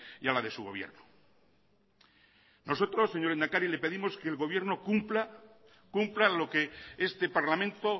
y a la de su gobierno nosotros señor lehendakari le pedimos que el gobierno cumpla lo que este parlamento